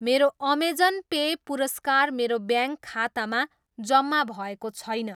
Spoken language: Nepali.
मेरो अमेजन पे पुरस्कार मेरो ब्याङ्क खातामा जम्मा भएको छैन।